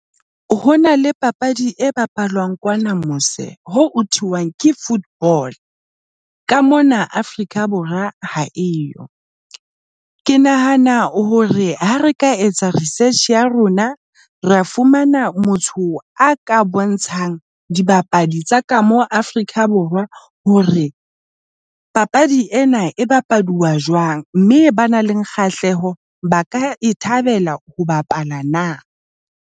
Ho na le papadi e bapalwang kwana mose ho thirty-one ke football. Ka mona Afrika Borwa ha e yo. Ke nahana hore ha re ka etsa research ya rona, ra fumana motho a ka bontshang dibapadi tsa ka mo Afrika Borwa hore papadi ena e bapaduwa jwang mme ba nang le kgahleho ba ka e thabela ho bapala na.